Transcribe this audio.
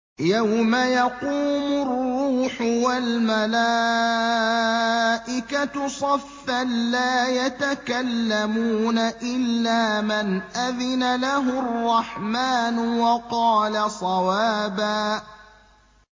يَوْمَ يَقُومُ الرُّوحُ وَالْمَلَائِكَةُ صَفًّا ۖ لَّا يَتَكَلَّمُونَ إِلَّا مَنْ أَذِنَ لَهُ الرَّحْمَٰنُ وَقَالَ صَوَابًا